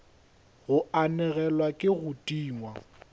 go anegelwa ke go tingwa